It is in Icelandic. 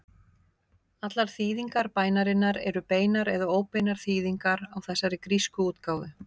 Allar þýðingar bænarinnar eru beinar eða óbeinar þýðingar á þessari grísku útgáfu.